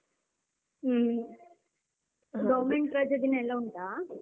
ಹ್ಮ್ government ರಜೆ ದಿನ ಎಲ್ಲ ಉಂಟಾ?